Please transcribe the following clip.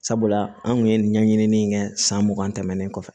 Sabula an kun ye ɲɛɲini kɛ san mugan tɛmɛnen kɔfɛ